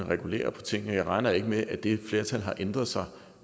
regulere på tingene jeg regner ikke med at det flertal har ændret sig